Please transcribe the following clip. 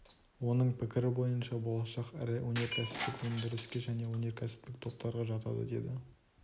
оның пікірі бойынша болашақ ірі өнеркәсіптік өндіріске және өнеркәсіптік топтарға жатады деді